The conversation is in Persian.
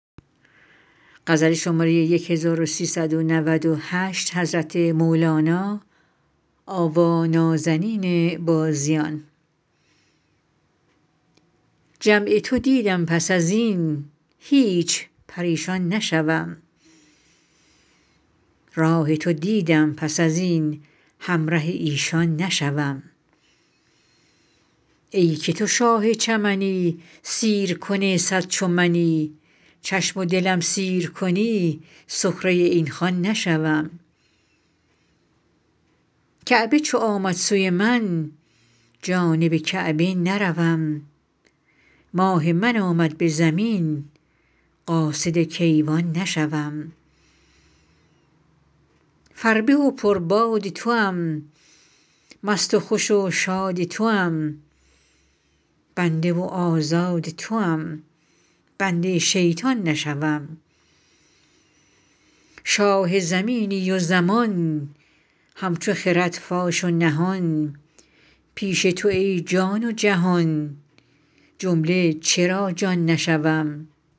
جمع تو دیدم پس از این هیچ پریشان نشوم راه تو دیدم پس از این همره ایشان نشوم ای که تو شاه چمنی سیرکن صد چو منی چشم و دلم سیر کنی سخره این خوان نشوم کعبه چو آمد سوی من جانب کعبه نروم ماه من آمد به زمین قاصد کیوان نشوم فربه و پرباد توام مست و خوش و شاد توام بنده و آزاد توام بنده شیطان نشوم شاه زمینی و زمان همچو خرد فاش و نهان پیش تو ای جان و جهان جمله چرا جان نشوم